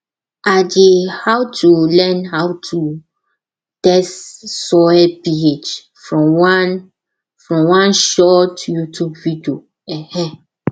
i dey how to learn how to test soil ph from one from one short youtube video um